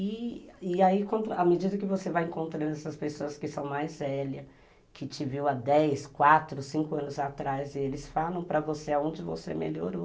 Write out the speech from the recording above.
E e aí, à medida que você vai encontrando essas pessoas que são mais velhas, que te viram há dez, quatro, cinco anos atrás e eles falam para você aonde você melhorou.